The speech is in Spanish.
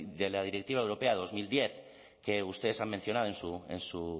de la directiva europea dos mil diez que ustedes han mencionado en su